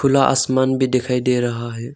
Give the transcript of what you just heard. आसमान भी दिखाई दे रहा है।